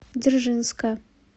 дзержинска